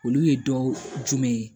Olu ye dɔw jumɛn ye